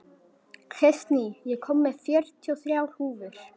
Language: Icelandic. Kristný, ég kom með fjörutíu og þrjár húfur!